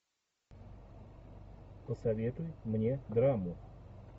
посоветуй мне драму